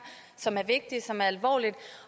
som er vigtigt som er alvorligt